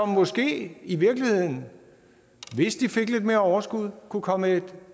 måske i virkeligheden hvis de fik lidt mere overskud kunne komme et